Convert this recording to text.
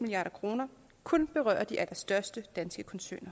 milliard kroner kun berøre de allerstørste danske koncerner